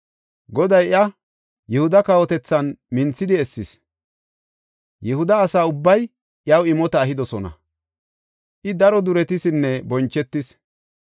Goday iya Yihuda kawotethan minthidi essis. Yihuda asa ubbay iyaw imota ehidosona; I daro duretisinne bonchetis.